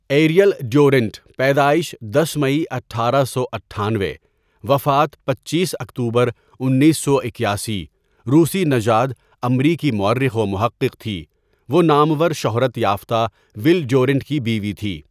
Ariel Durant پیدائش دس مئی اٹھارہ سو اٹھانوے وفات پنچیس اکتوبر انیس سو اکیاسی روسی نژاد امریکی مؤرخ و محقق تھی وہ نامور شہرت یافتہ ول ڈیورنٹ کی بیوی تھی.